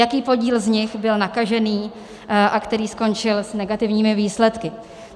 Jaký podíl z nich byl nakažených a který skončil s negativními výsledky.